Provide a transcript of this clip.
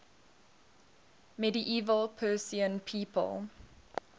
medieval persian people